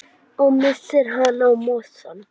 Og missir hana í mosann.